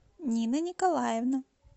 нина николаевна